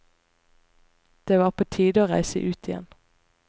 Det var på tide å reise ut igjen.